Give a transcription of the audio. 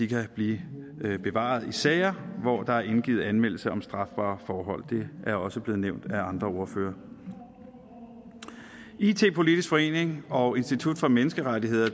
kan blive bevaret i sager hvor der er indgivet anmeldelse om strafbare forhold det er også blevet nævnt af andre ordførere it politisk forening og institut for menneskerettigheder